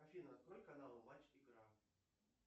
афина открой канал матч игра